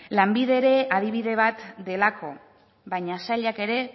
lanbide ere adibide bat delako baina sailak ere